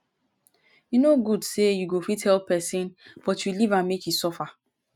e no good say you go fit help pesin but you leave am make e suffer